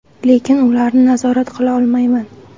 Lekin ularni nazorat qila olmayman.